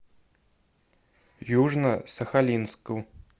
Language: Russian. южно сахалинску